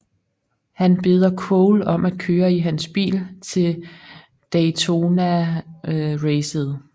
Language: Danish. Han beder Cole om at køre i hans bil til Daytonaracet